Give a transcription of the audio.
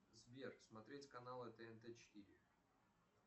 сбер смотреть каналы тнт четыре